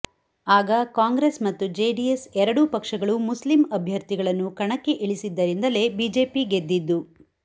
ಆಗ ಕಾಂಗ್ರೆಸ್ ಮತ್ತು ಜೆಡಿಎಸ್ ಎರಡೂ ಪಕ್ಷಗಳು ಮುಸ್ಲಿಂ ಅಭ್ಯರ್ಥಿಗಳನ್ನು ಕಣಕ್ಕೆ ಇಳಿಸಿದ್ದರಿಂದಲೇ ಬಿಜೆಪಿ ಗೆದ್ದಿದ್ದು